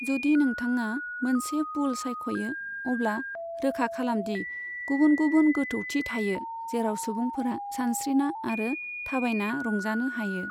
जुदि नोंथाङा मोनसे पुल सायख'यो, अब्ला रोखा खालामदि गुबुन गुबुन गोथौथि थायो जेराव सुबुंफोरा सानस्रिना आरो थाबायना रंजानो हायो।